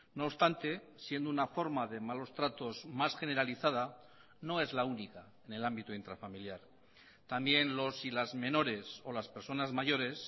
no obstante siendo una forma de malos tratos más generalizada no es la única en el ámbito intrafamiliar también los y las menores o las personas mayores